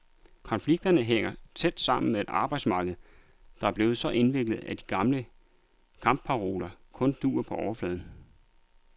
Konflikterne hænger tæt sammen med et arbejdsmarked, der er blevet så indviklet, at de gamle kampparoler kun duer på overfladen.